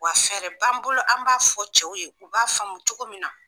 Wa fɛɛrɛ b'an bolo an b'a fɔ cɛw ye u b'a faamu cogo min na.